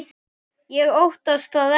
Ég óttast það ekki.